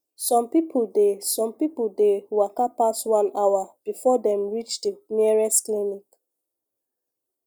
some people dey some people dey waka pass one hour before dem reach the nearest clinic